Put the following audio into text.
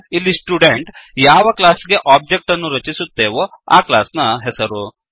ಇಲ್ಲಿ ಸ್ಟುಡೆಂಟ್ ಯಾವ ಕ್ಲಾಸ್ ಗೆ ಒಬ್ಜೆಕ್ಟ್ ಅನ್ನು ರಚಿಸುತ್ತೇವೋ ಆ ಕ್ಲಾಸ್ ನ ಹೆಸರು